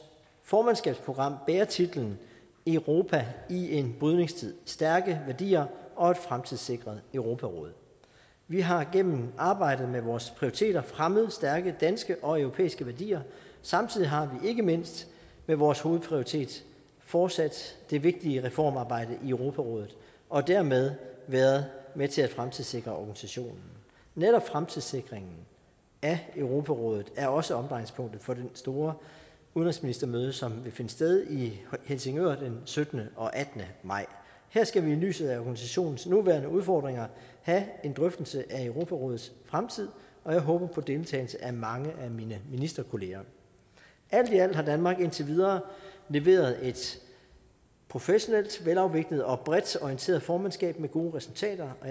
formandskabsprogram bærer titlen europa i en brydningstid stærke værdier og et fremtidssikret europaråd vi har gennem arbejdet med vores prioriteter fremmet stærke danske og europæiske værdier samtidig har vi ikke mindst med vores hovedprioritet fortsat det vigtige reformarbejde i europarådet og dermed været med til at fremtidssikre organisationen netop fremtidssikringen af europarådet er også omdrejningspunktet for det store udenrigsministermøde som vil finde sted i helsingør den syttende og attende maj her skal vi i lyset af organisationens nuværende udfordringer have en drøftelse af europarådets fremtid og jeg håber på deltagelse af mange af mine ministerkolleger alt i alt har danmark indtil videre leveret et professionelt velafviklet og bredt orienteret formandskab med gode resultater og